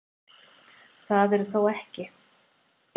Það eru þó ekki